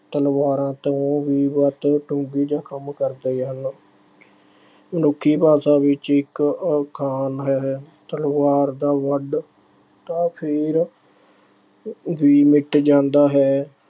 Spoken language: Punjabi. ਤਲਵਾਰਾਂ ਤੋਂ ਵੀ ਵੱਧ ਡੂੰਘੇ ਜਖ਼ਮ ਕਰਦੇ ਹਨ। ਮਨੁੱਖੀ ਭਾਸ਼ਾ ਵਿੱਚ ਇੱਕ ਅਖਾਣ ਅਹ ਹੈ - ਤਲਵਾਰ ਦਾ ਫੱਟ ਤਾਂ ਫੇਰ ਵੀ ਮਿੱਟ ਜਾਂਦਾ ਹੈ।